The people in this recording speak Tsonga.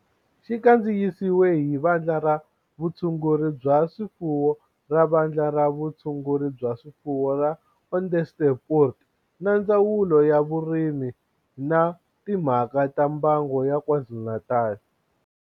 Xi kandziyisiwe hi Vandla ra Vutshunguri bya swifuwo ra Vandla ra Vutshunguri bya swifuwo ra Onderstepoort na Ndzawulo ya Vurimi na Timhaka ta Mbango ya KwaZulu-Natal